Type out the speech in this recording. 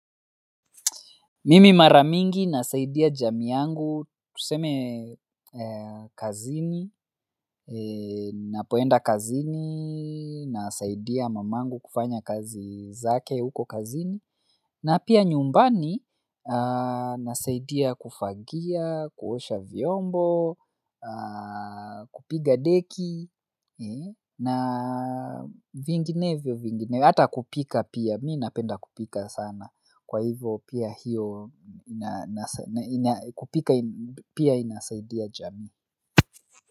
Mimi mara mingi nasaidia jamii yangu, tuseme kazini, napoenda kazini, nasaidia mamangu kufanya kazi zake huko kazini, na pia nyumbani nasaidia kufagia, kuosha vyombo, kupiga deki, na vinginevyo vinginevyo, hata kupika pia, mi napenda kupika sana. Kwa hivyo pia hiyo inasaidia jamii.